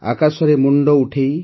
ଆକାଶରେ ମୁଣ୍ଡ ଉଠାଇ